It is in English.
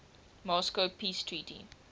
moscow peace treaty